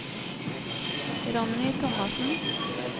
Ronny Thomassen